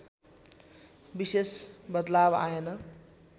विशेष बदलाव आएन